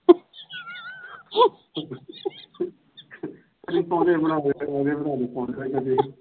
ਪੋਜੇ ਬਣਾਦੇ ਪੋਜੇ ਬਣਾਦੇ